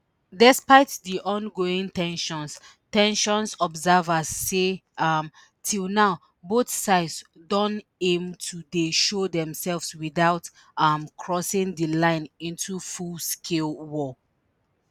despite di ongoing ten sions ten sions observers say um till now both sides don aim to dey show demsef without um crossing di line into fullscale war